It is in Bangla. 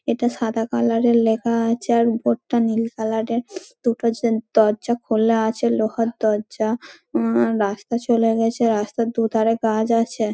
এটা সাদা কালার -এর লেখা আছে ।আর উপর টা নীল কালার -এর। দুটো দরজা খোলা আছে লোহার দরজা। উঁ রাস্তা চলে গেছে রাস্তার দু ধরে গাছ আছে |